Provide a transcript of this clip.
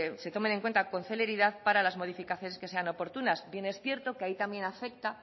se tomen en cuenta con celeridad para las modificaciones que sean oportunas bien es cierto que ahí también afecta